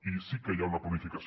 i sí que hi ha una planificació